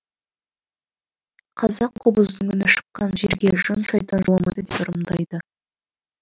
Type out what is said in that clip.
қазақ қобыздың үні шыққан жерге жын шайтан жоламайды деп ырымдайды